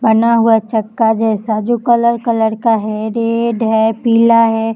बना हुआ छक्का जैसा जो कलर कलर का है रेड है पीला है।